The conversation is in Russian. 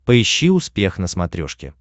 поищи успех на смотрешке